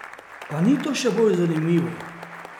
A ni to še bolj zanimivo?